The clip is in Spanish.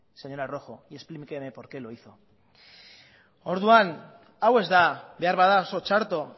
señora rojo y explíqueme porqué lo hizo orduan hau ez da beharbada oso txarto